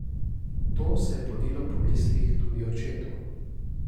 To se je podilo po mislih tudi očetu.